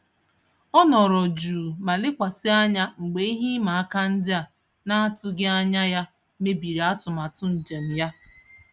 Ọ nọrọ jụụ ma lekwasị anya mgbe ihe ịma aka ndị a n'atụghị anya ya mebiri atụmatụ njem ya.